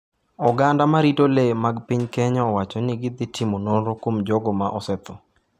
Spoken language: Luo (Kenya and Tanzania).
Oganda ma rito lee mag piny Kenya owacho ni gidhi timo nonro kuom jogo ma osetho.